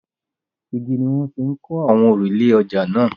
Igi ni wọ́n fi kọ́ àwọn òrùlé ọjà náà.